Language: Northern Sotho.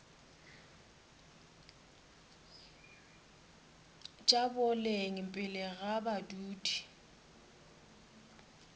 tša boleng pele ga badudi